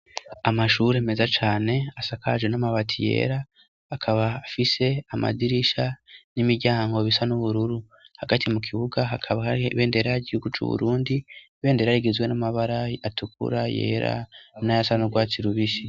Amashuri meza cane asakaje n'amabati yera, akaba afise amadirisha n'imiryango bisa n'ubururu. Hagati mu kibuga hakaba hari ibendera ry'igihugu c'Uburundi, ibendera rigizwe n'amabara atukura, yera, n'ayasa n'urwatsi rubisi.